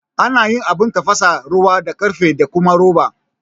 Ana yin Abun tafasa ruwa da karfe da kuma roba